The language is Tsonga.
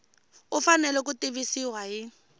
u fanele ku tivisiwa hi